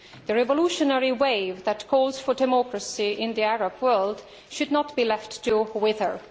The revolutionary wave that calls for democracy in the Arab world should not be left to wither.